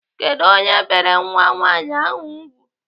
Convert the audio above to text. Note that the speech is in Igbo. Kedụ onye bere nwa nwaanyị ahụ ùgwù?